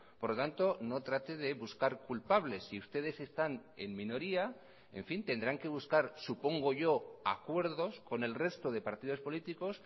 por lo tanto no trate de buscar culpables si ustedes están en minoría en fin tendrán que buscar supongo yo acuerdos con el resto de partidos políticos